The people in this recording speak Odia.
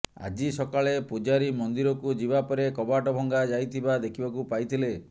ଆଜି ସକାଳେ ପୂଜାରୀ ମନ୍ଦିରକୁ ଯିବା ପରେ କବାଟ ଭଙ୍ଗା ଯାଇଥିବା ଦେଖିବାକୁ ପାଇଥିଲେ